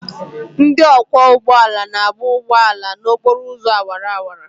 Ndị ọkwọ ụgbọ ala na-agba ụgbọ ala n'okporo ụzọ awara awara.